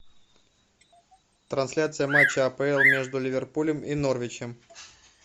трансляция матча апл между ливерпулем и норвичем